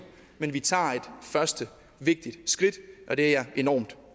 men vi tager et første vigtigt skridt og det er jeg enormt